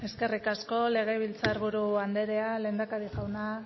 eskerrik asko legebiltzar buru anderea lehendakari jauna